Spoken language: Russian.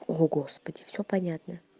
о господи все понятно